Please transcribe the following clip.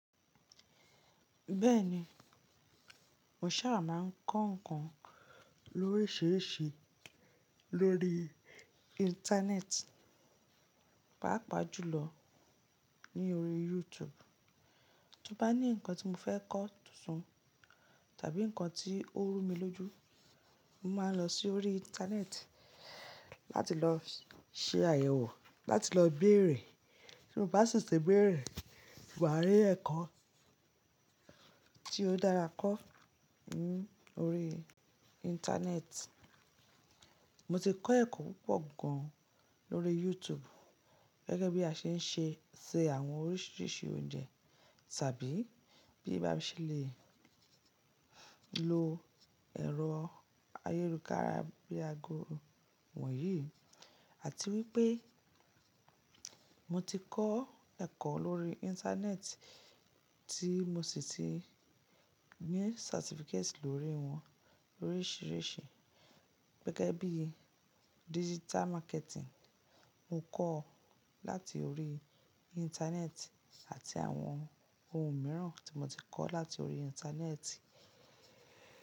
Bẹ́ẹ̀ni, mo ṣàrà máa ń kọ́ nǹkan lóríṣiríṣi lórí Íńtánẹ́ẹ̀tì, pàápàá jùlọ ní orí YouTube. Tí mo bá ní nǹkan tí mo fẹ́ kọ́ tuntun tàbí nǹkan tí ó rú mi lójú, mo máa ń lọ sí orí Íńtánẹ́ẹ̀tì láti lọ ṣe àyẹ̀wò, láti lọ béèrè. Bí mo bá sì tẹ̀béèrè, mo á rí ẹ̀kọ́ tí ó dára kọ́ lórí Íńtánẹ́ẹ̀tì. Mo ti kọ́ ẹ̀kọ́ púpọ̀ gan lórí YouTube gẹ́gẹ́ bí a ṣe ń ṣe, ṣe àwọn oríṣiríṣi oúnjẹ tàbí bí a bá ṣe lè lo ẹ̀rọ ayélujára bíi ago wọ̀nyí. Àti wípé mo ti kọ́ ẹ̀kọ́ lórí Íńtánẹ́ẹ̀tì tí mo sì ti ní certificate lórí wọn oríṣiríṣi gẹ́gẹ́ bí digital marketing mo kọ́ láti orí Íńtánẹ́ẹ̀tì àti àwọn ohun mìíràn tí mo ti kọ́ láti orí Íńtánẹ́ẹ̀tì.